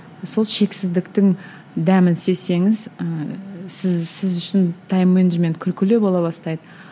сол шексіздіктің дәмін сезсеңіз ііі сіз сіз үшін тайм менеджмент күлкілі бола бастайды